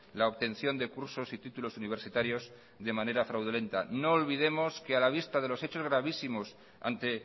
la obtención de cursos y títulos universitarios de manera fraudulenta no olvidemos que a la vista de los hechos gravísimos ante